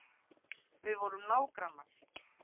Við vorum nágrannar.